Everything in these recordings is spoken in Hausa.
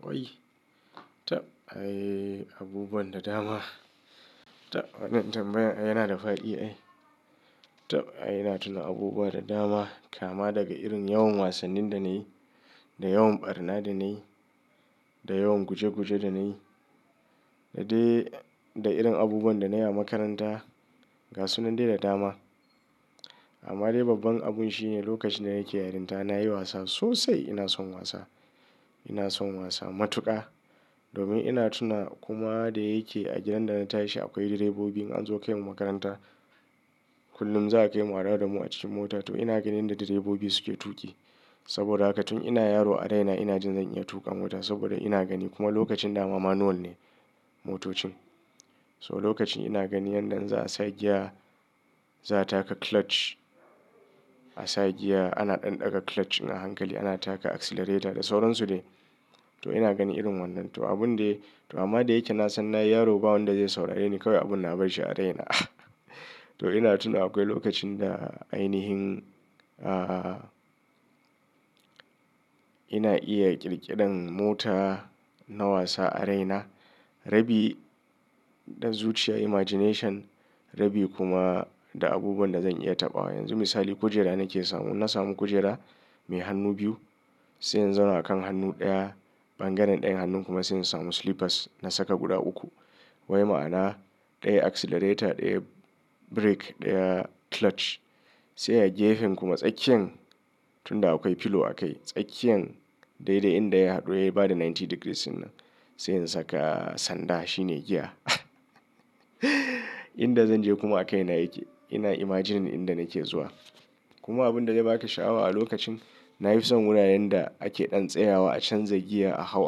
Wai? Tab ai abubuwan da dama. Tab wannan tambayan yana da fadi ai. Tab ai ina tuna abubuwa da dama, kama daga irin yawan wasannin da nayi, da yawan ɓarna da nayi, da yawan guje guje da nayi, da dai da irin abubuwan da nayi a makaranta, gasunan dai da dama. Amma dai babban abun shine lokacin da nake yarinta nayi wasa sosai ina son wasa. Ina son wasa matuƙa. Domin ina tuna kuma da yake a gidan da na tashi akwai direbobi in anzo kai mu makaranta. Kullum za a kai mu a dawo damu a cikin mota to ina ganin da direbobi suke tuƙi. Saboda haka tun ina yaro a raina ina jin zan iya tuƙa mota saboda ina gani kuma lokacin da mama manual ne motocin. So lokacin ina gani yanda in za a sa giya, za a taka clutch. A sa giya ana ɗan ɗaga clutch in a hankali ana taka accelerator da sauran su dai. To ina gani irin wannan. To abun dai, to amma da yake na san na yi yaro ba wanda zai saurareni kawai abin na barshi a raina. To ina tuna akwai lokacin da ainihin, ah, ina iya ƙirƙirar mota na wasa a raina. Rabi da zuciya imagination, rabi kuma da abubuwan da zan iya taɓawa. Yanzu misali kujera nake samu, na samu kujera mai hannu biyu, sai in zama a kan hannu ɗaya, bangaren ɗayan hannun kuma sai in samu slippers na saka guda uku. Wai ma'ana ɗaya accelerator, ɗaya brake, ɗaya clutch. Sai a gefen kuma tsakiyan tun da akwai pillow a kai, tsakiyan dai da inda ya haɗu ya yi bada ninety degrees in nan. Sai in saka sanda shine giya. Inda zan je kuma a kai na yake. Ina imagining inda nake zuwa. Kuma abun da ya baka sha'awa a lokacin, na fi son wuraren da ake ɗan tsayawa a canza giya a hau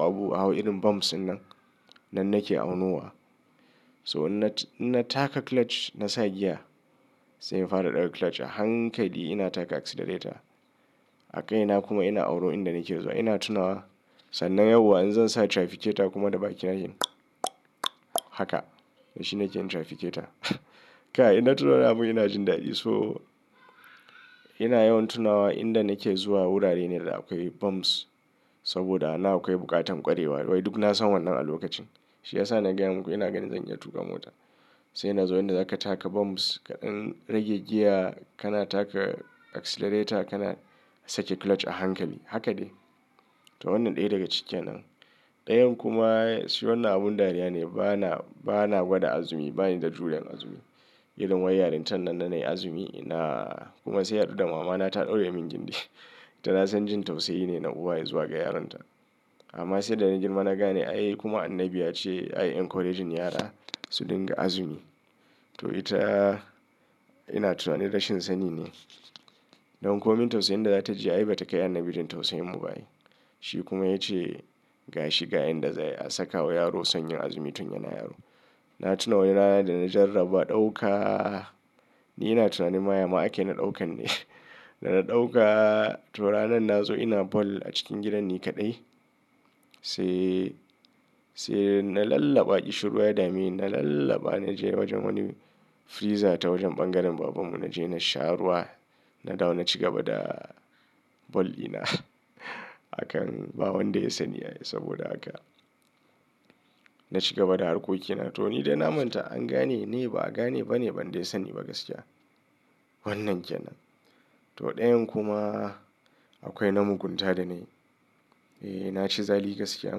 abu a hau irin bumps in nan. Nan nake aunuwa. So na taka clutch na sa giya. Sai in fara ɗaga clutch a hankali ina taka accelerator. A kai na kuma ina auro inda nake zuwa. Ina tunawa sannan yauwa in zan sa trafficator kuma da bakina jin haka. Shi ne kenan trafficator. Kai ina tunawa namu ina jin dadi so ina yawan tunawa inda nake zuwa wurare ne da akwai bumps. Saboda ana akwai buƙatan kwarewa wai duk na san wannan a lokacin. Shi ya sa na gaya muku ina gani zan iya tuƙa mota. Sai ina zuwa inda za ka taka bumps kaɗan rage giya kana taka accelerator kana sake clutch a hankali. Haka ne. To wannan ɗaya daga cikin nan. Ɗayan kuma shi wannan abun dariya ne bana, bana gwada azumi bani da juriyan azumi. Irin wai yarinta nan na nayi azumi ina kuma sai ya haɗu da mamana ta ɗaure min gindi. To na san jin tausayi ne na uwaye zuwa ga yaronta. Amma sai da na girma na gane ai kuma annabi ya ce ai encourage yara su dinga azumi. To ita ina tunanin rashin sani ne. Don ko min tausayin da za ta ji ai ba ta kai annabi jin tausayin mu ba ne. Shi kuma ya ce ga shi ga inda za a saka wa yaro sanyin azumi tun yana yaro. Na tuna wani rana da na jarraba ɗauka. Ni ina tunanin ma ya ma ake na ɗaukan ne. Da na ɗauka to ranan na zo ina ball a cikin gidan ni kaɗai. Sai, sai na lallaba Ishurwa da me, na lallaba na je wajen wani freezer ta wajen bangaren baban mu naje na sha ruwa. Na dawo na ci gaba da ball dina. Akan ba wanda ya san ni ai saboda haka. Na ci gaba da harkokina to ni dai na manta an gane ni ba a gane ba ne ban dai san ni ba gaskiya. Wannan kenan. To ɗayan kuma akwai na mugunta da na yi. Eh na ci zali gaskiya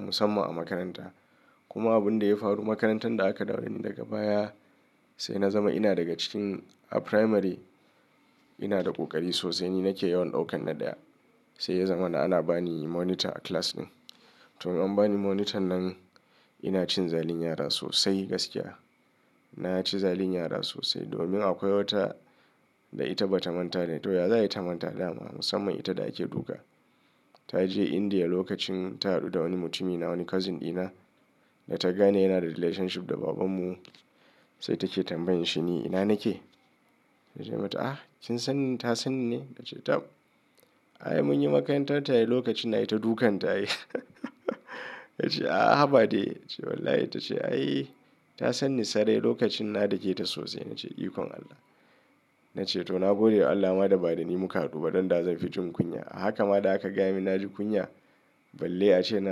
musamman a makaranta. Kuma abun da ya faru makarantar da aka dawo dani daga baya sai na zama ina daga cikin a primary ina da ƙoƙari sosai ni nake yawan ɗaukan na ɗaya. Sai ya zama na ana bani monitor a class ɗin. To in an bani monitor nan ina cin zalin yara sosai gaskiya. Na ci zalin yara sosai domin akwai wata da ita ba ta manta da ni to ya za ta manta da ni amma musamman ita da ake duka. Ta je India lokacin ta haɗu da wani mutumin na wani cousin ɗina da ta gane yana da relationship da baban mu. Sai take tambayan shi ni ina nake? Na ce mata a kin san ta san ni? Ta ce tab ai mun yi makaranta tare lokacin na yi ta dukan ta ai. Ta ce a haba dai. Ta ce wallahi ta ce ayi ta san ni sarai lokacin na dake ta sosai. Na ce ikon Allah. Na ce to na gode Allah ma da ba da ni muka haɗu ba don da zan fi jin kunya. Haka ma da aka gaya min na ji kunya balle ace na.